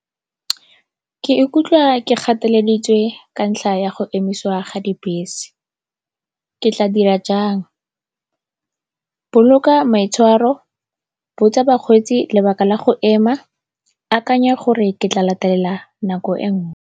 Ke ikutlwa ke gateleditswe ka ntlha ya go emisiwa ga dibese, ke tla dira jang? Boloka maitshwaro, botsa bakgweetsi lebaka la go ema, akanya gore ke tla latelela nako e nngwe.